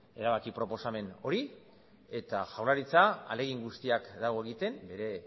erabaki proposamen hori eta jaurlaritza ahalegin guztiak dago egiten bere